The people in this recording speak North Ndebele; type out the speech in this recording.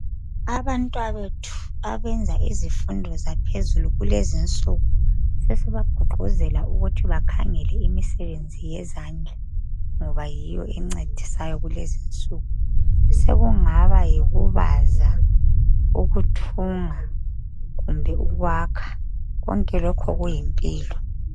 Abantwabethu abenza izifundo zaphezulu kulezinsuku sesibagqugquzela ukuthi bakhangele imisebenzi yezandla ngoba yiyo encedisayo kulezinsuku sekungaba yikubaza ukuthunga kumbe ukwakha konke lokho kuyimpilo.